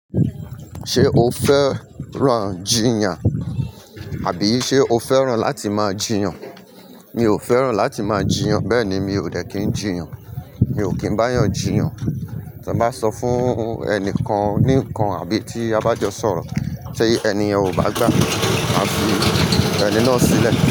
Ṣé o fẹ́ran jìyàn àbí ṣe o fẹ́ran láti máa jìyàn? Mi ò fẹ́ran láti máa jìyàn. Bẹ́ẹ̀ ni, mi ò dẹ̀ kin jìyàn. Mi ò kín báyàn jìyàn. Tí a bá sọ fún ẹni kan ní nǹkan àbí tí a bá jọ sọ̀rọ̀, ti ẹni ọ̀ bá gbà á fi ẹni náà sílẹ̀